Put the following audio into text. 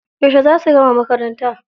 Yauce za su gama makaranta?